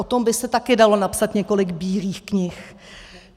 O tom by se taky dalo napsat několik bílých knih.